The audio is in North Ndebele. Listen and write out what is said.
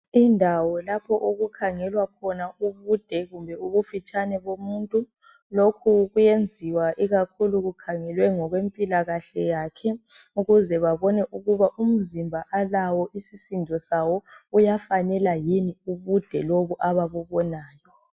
Indawo lapho okukhangelwa khona ubude kumbe ubufitshane bomuntu, lokhu kuyenziwa ikakhulu kukhangelwe ngokwe mpilakahle yakhe, ukuze babone ukuba umzimba alawo isisindo sawo uyafanela yini ubude lobo ababubonayo.